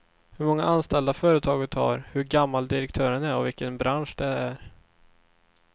Hur många anställda företaget har, hur gammal direktören är och vilken bransch det är.